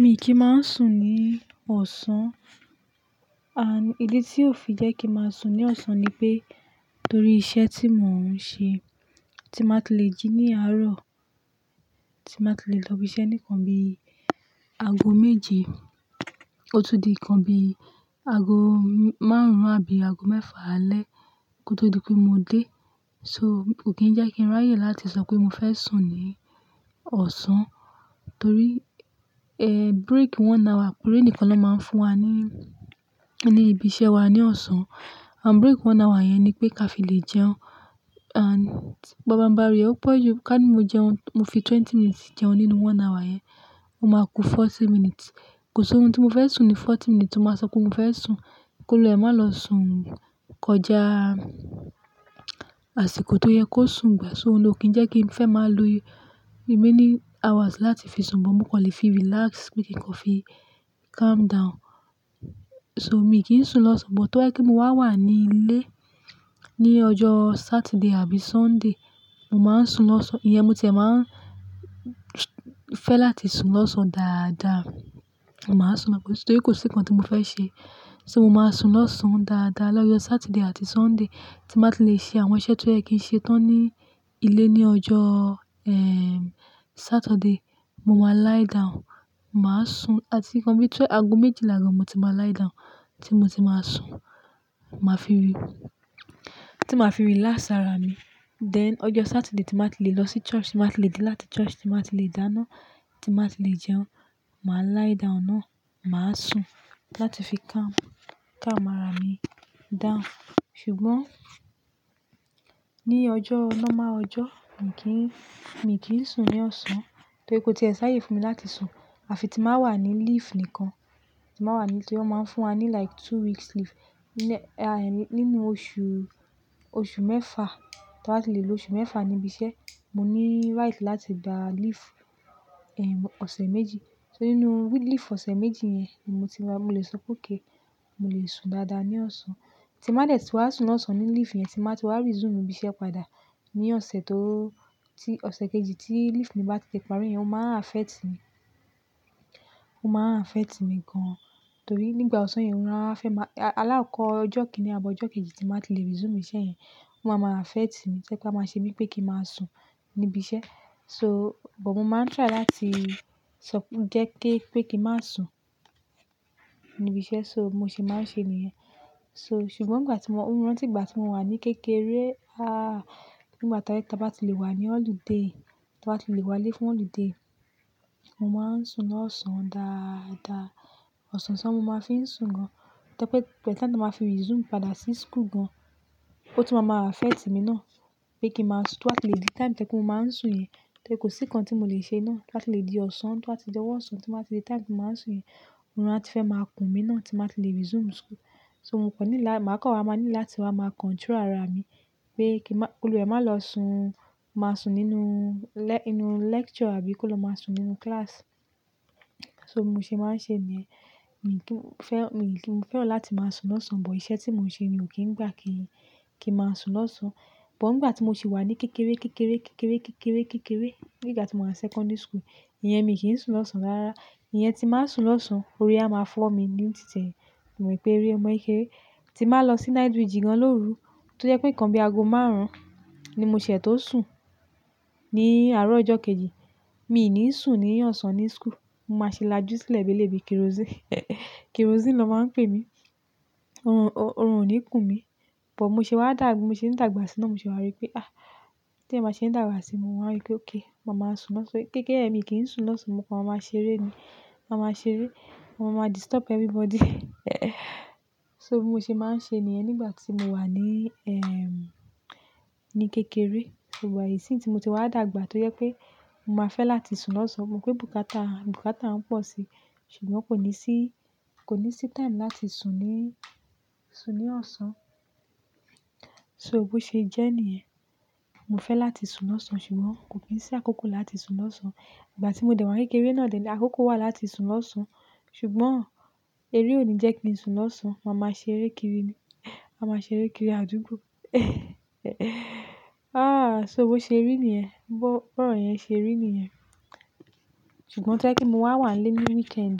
Mi kì í máa ń sùn ní ọ̀sán. Ànd ìdí tí ó fi jẹ́ kí ń máa sùn ní ọ̀sán ni pé, torí iṣẹ́ tí mò ń ṣe, tí mba ti le jí ní àárọ̀, tí mbá ti le lọ ibi iṣẹ́ nì nnkan bí i ago méje, ó tún di nǹkan bí i ago márùn-ún àbí ago mẹ́fà alẹ́ kó tó di pé mo dé. So kò kí ń jẹ́ kí ń ráyè láti sọ pé mo fẹ́ sùn ní ọ̀sán torí break one hour péré nìkan ló máa ń fún wa ní, ní ibi iṣẹ́ wa ní ọ̀sán. And break one hour yẹn ni pé ká fi lè jẹun and pabambari o pọ̀ ju ká ní mo jẹun, mo fi twenty minutes jẹun nínú one hour yẹn, mo máa ku forty minutes. Kò sí orun tí mo fẹ́ sùn ni forty minutes. Mo ba sọ pé mo fẹ́ sùn, kí olùwa e má lọ sùn kọjá àsìkò tó yẹ kó sùn gbà. So oun ní ò kí ń jẹ́ kí ń fẹ́ máa lo remaining hours láti fi sùn, but mo kan lè fi relax pe kí n kó fi calm down. So mi kì n sùn lọ́sàn-án, but tó ba jẹ́ pé mo wá wà ní ilé ní ọjọ́ Saturday àbí Sunday, mo máa ń sùn lọ́sàn-án. Ìyẹn mo ti e máa ń fẹ́ láti sùn lọ́sàn-án dáadáa. Máa sùn torí kò sí nǹkan tí mo fẹ́ ṣe. So mo máa sùn lọ́sàn-án dáadáa lọ́jọ́ Saturday àti Sunday tí màá ti lè ṣe àwọn iṣẹ́ tó yẹ kí n ṣe tán ní ilé ní ọjọ́, ẹ́ẹ́, Saturday. Mo máa lie down, màá sùn àti nǹkan bí i tó ago méjìlá gan mo ti máa lie down tí mo ti máa sùn. Màá fi rí, tí màá fi rílas ara mi. Then ọjọ́ Saturday tí màá ti lè lọ sí church, tí màá ti lè dé láti church, tí màá ti lè dáná, tí màá ti lè jẹun, màá lie down náà, màá sùn láti fi calm, calm ara mi down. Ṣùgbọ́n ní ọjọ́ normal ọjọ́, mi kì í, mi kì í sùn ní ọ̀sán torí kò tí ẹ sá yè fún mi láti sùn. Àfi tí màá wà ní leave nìkan, tí màá wà ní, torí wọ́n máa ń fún wa ní like two weeks leave ní, ẹ́ẹ́, nínú oṣù, oṣù mẹ́fà, tí wà á ti lè lo oṣù mẹ́fà ní ibi iṣẹ́, mo ní right láti gba leave, ẹ́ẹ́, ọ̀sẹ̀ méjì. So nínú week leave ọ̀sẹ̀ méjì yẹn ni mo ti máa, mo lè sọ pé òkay, mo lè sùn dáadáa ní ọ̀sán. Tí màá dẹ̀ tí wà á sùn lọ́sàn-án ní leave yẹn, tí màá ti wá resume ibi iṣẹ́ padà ní ọ̀sẹ̀ tó, tí ọ̀sẹ̀ kejì tí leave mi bá ti di ìparí yẹn, ó máa n affect mi. Ó máa n affect mi gan torí nígbà ọ̀sán yẹn, ó rán fẹ́ máa-- àlákọ̀ ọjọ́ kìn-ín ni àbọ̀ ọjọ́ kejì tí màá ti lè resume iṣẹ́ yẹn. Ó máa ma ra fẹ́ẹ̀tì mi. Ṣé kí a máa ṣe bí i pé kí ń máa sùn ní ibi iṣẹ́? So, but mo máa ń try láti sọp-- jẹ́ kí, pé kí ń má sùn ní ibi iṣẹ́. So mo ṣe máa ń ṣe niyẹn. So ṣùgbọ́n nígbà tí mo, ó rán tígbà tí mo wà ní kékeré, ah, nígbà tí a bá ti lè wà ní ọ̀lùdé, tí a bá ti lè wálé fún ọ̀lùdé, mo máa ń sùn lọ́sàn-án dáadáa. Ọ̀sàn ṣán mo máa fi ń sùn gan. Tẹ́ pé tàbí time tí màá fi resume padà sí school gan, ó tún máa ma ma affect mi náà pé kí ń má sùn tó à ti lè di time tẹ́ kí mo máa ń sùn yẹn. Torí kò sí nǹkan tí mo lè ṣe iná láti lè di ọ̀sán tó à ti jẹ́ wọ́n ọ̀sán tí màá ti di time tí màá sùn yẹn. Órun atí fẹ́ máa kùn mí náà tí màá ti lè resume school. So mo kò ní là, màá kọ́ wa máa ní láti wá máa control ara mi pé kí má, kí olùwa re má lọ sùn, má sùn nínú lẹ́, inú lecture àbí kí ó lọ má sùn nínú class. So mo ṣe máa ń ṣe ènìyẹn. Mi kì í fẹ́, mi kì í, mo fẹ́ràn láti máa sùn lọ́sàn-án, but iṣẹ́ tí mò ń ṣe ò kí ń gbà kí, kí ń máa sùn lọ́sàn-án. But nígbà tí mo sì wà ní kékeré, kékeré, kékeré, kékeré, kékeré, nígbà tí mo wà secondary school, ìyẹn mi kì í sùn lọ́sàn-án rárá. Ìyẹn tí màá sùn lọ́sàn-án, orí á máa fọ́ mi ní títẹ̀. Mo rí pé eré ọmọ kékeré tí màá lọ sí night vigil gan lóru tó jẹ́ pé nǹkan bí i ago márùn-ún ni mo ṣẹ̀ tó sùn ní àárọ̀ ọjọ́ kejì. Mi ò ní sùn níyàn ọ̀sán ní school. Mo máa ṣe lájú sílẹ̀ bí i lèbí kerosene. Kerosene ló máa ń pè mí. Orun, orun ò ní kùn mí. But mo ṣe wá dàgbà, mo ṣe ń dàgbà sínú, mo sì wá rí pé, ah, tí èmi má ṣe ń dàgbà sí i, mo wá rí pé, "òkè, màá máa sùn lọ́sàn-án." So kékeré mi kì í sùn lọ́sàn-án, mo kọ́ wa máa ṣeré ni. Wàá máa ṣeré, wàá máa disturb everybody. So mo ṣe máa ń ṣe nìyẹn nígbà tí mo wà ní, ẹ́ẹ́, ní emm kékeré. But isin tí mo ti wá dàgbà tó jẹ́ pé mo máa fẹ́ láti sùn lọ́sàn-án, mo rí pé bùkátà, bùkátà ń pọ̀ si ṣùgbọ́n kò ní sí, kò ní sí time láti sùn ní, sùn ní ọ̀sán. So bó ṣe jẹ́ nìyẹn. Mo fẹ́ láti sùn lọ́sàn-án ṣùgbọ́n kò kí i sí àkókò láti sùn lọ́sàn-án. Nígbà tí mo dè wá kékeré náà ni àkókò wà láti sùn lọ́sàn-án ṣùgbọ́n eré ò ní jẹ́ kí n sùn lọ́sàn-án. Wàá máa ṣe eré kiri ni. Wàá máa ṣe eré kiri àdúgbò. Ah, so bo ṣe rí nìyẹn. Bo ro yẹn ṣe rí nìyẹn. Ṣùgbọ́n tẹ́ kí mo wà wà ní weekend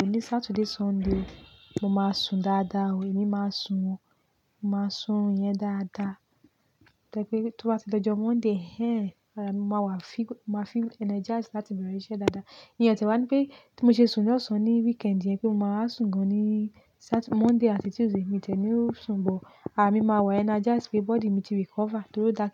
o, ní Saturday, Sunday, mo máa sùn dáadáa o. Èmi máa ń sùn o. Mo máa sùn yẹn dáadáa to pé tó bá ti di ọjọ́ Monday, ẹ́ẹ́, ará mi wà fígó, màá feel energized láti bẹ̀rẹ̀ iṣẹ́ dáadáa. Ìyẹn tìwá ní pé tí mo ṣe sùn lọ́sàn-án ní weekend yẹn pé mo máa sùn gan ni Saturday-- Monday àti Tuesday, èmi tẹ̀ mi ó sùn, but ara mi máa wà energized pé body mi ti recover torí ó dà.